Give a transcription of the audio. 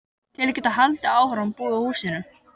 Til að geta haldið áfram að búa í húsinu.